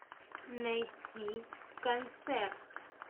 найти концерт